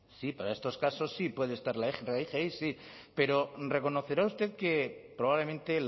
sí para estos casos sí puede estar la rgi sí pero reconocerá usted que probablemente